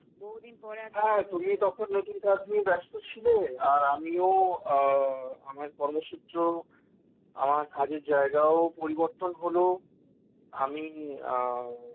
হ্যাঁ তুমি তখন নতুন কাজ নিয়ে ব্যস্ত ছিলে আর আমিও আমার কর্মসূত্র আমার কাজের জায়গাও পরিবর্তন হলো আমি